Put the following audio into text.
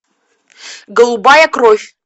голубая кровь